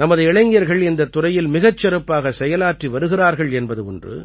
நமது இளைஞர்கள் இந்தத் துறையில் மிகச் சிறப்பாகச் செயலாற்றி வருகிறார்கள் என்பது ஒன்று